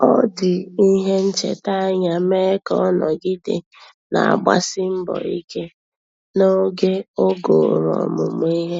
Ọ́ jì ìhè nchètà ányá mee ka ọ́ nọ́gídè nà-àgbàsí mbọ̀ ike n’ógè ogòrò ọmụ́mụ́ ìhè.